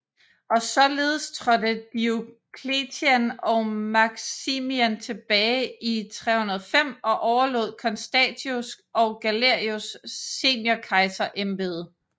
Og således trådte Diocletian og Maximian tilbage i 305 og overlod Constantius og Galerius seniorkejserembederne